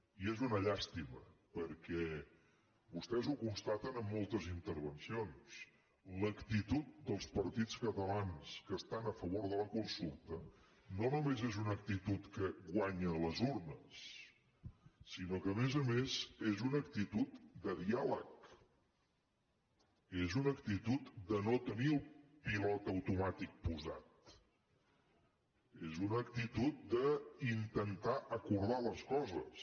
i és una llàstima perquè vostès ho constaten en moltes intervencions l’actitud dels partits catalans que estan a favor de la consulta no només és una actitud que guanya a les urnes sinó que a més a més és una actitud de diàleg és una actitud de no tenir el pilot automàtic posat és una actitud d’intentar acordar les coses